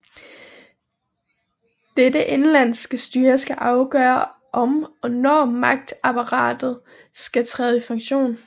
Dette indenlandske styre skal afgøre om og når magtapparatet skal træde i funktion